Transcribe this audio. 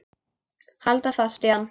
Halda fast í hann!